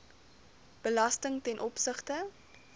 belasting ten opsigte